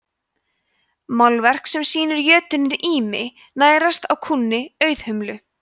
málverk sem sýnir jötuninn ými nærast á kúnni auðhumlu